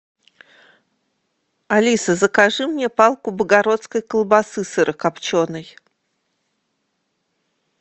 алиса закажи мне палку богородской колбасы сырокопченой